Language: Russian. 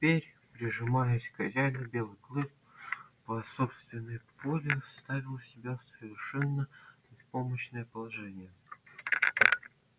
а теперь прижимаясь к хозяину белый клык по собственной воле ставил себя в совершенно беспомощное положение